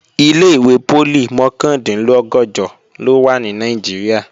Ilé-ìwé poli mọ̀kàndínlọ́gọ̀jọ ló wà ní Nàìjíríà